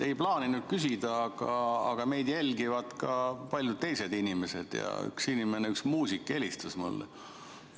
Ei plaaninud küsida, aga meid jälgivad ka paljud teised inimesed, ja üks inimene, üks muusik, helistas mulle.